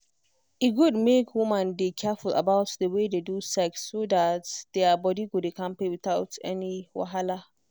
e good make women dey careful about the way they do sex so that their body go dey kampe without any wahala.